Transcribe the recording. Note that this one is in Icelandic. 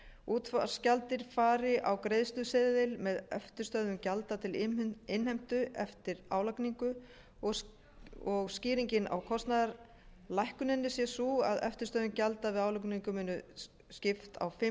útvarpsgjaldið fari á greiðsluseðil með eftirstöðvum gjalda til innheimtu eftir álagningu og skýringin á kostnaðarlækkuninni sé sú að eftirstöðvum gjalda við álagningu er skipt á fimm